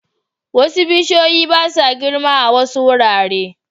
Wasu bishiyoyi ba sa girma a wasu wurare